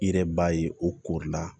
I yɛrɛ b'a ye o kori la